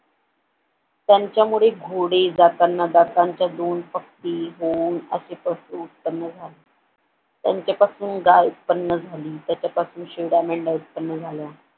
त्यांच्यामुळे घोडे जाताना दातांच्या दोन पक्षी पशु उत्पन्न झालं त्यांच्यापासून गाय उत्पन्न झाली त्याच्यापासून शेळ्या मेंढ्या उत्पन्न झाल्या.